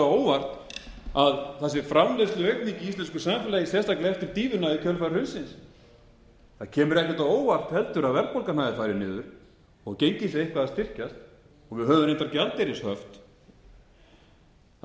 á óvart að það sé framleiðsluaukning í íslensku samfélagi sérstaklega eftir dýfuna í kjölfar hrunsins það kemur ekkert á óvart heldur að verðbólgan hafi farið niður og gengið sé eitthvað að styrkjast við höfum reyndar gjaldeyrishöft það